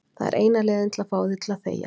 Það er eina leiðin til að fá þig til að þegja.